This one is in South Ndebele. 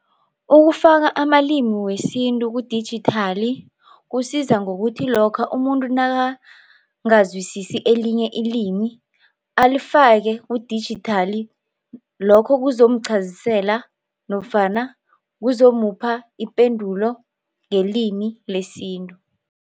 Ukufaka amalimi wesintu kudijithali kusiza ngokuthi lokha umuntu nakangazwisisi elinye ilimi alifake kudijithali lokho kuzomqhazisela nofana kuzomupha ipendulo ngelimi lesintu.